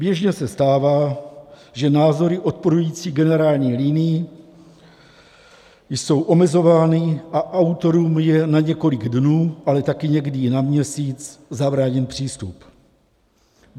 Běžně se stává, že názory odporující generální linii jsou omezovány a autorům je na několik dnů, ale taky někdy i na měsíc zabráněn přístup.